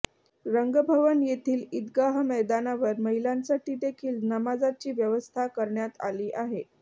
रंगभवन येथील ईदगाह मैदानावर महिलांसाठी देखील नमाजची व्यवस्था करण्यात आली आहे